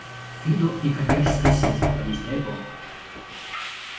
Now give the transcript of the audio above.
фидо некоммерческая сеть объясняет он